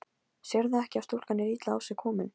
Sérðu ekki að stúlkan er illa á sig komin.